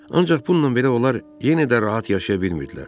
Ancaq bununla belə onlar yenə də rahat yaşaya bilmirdilər.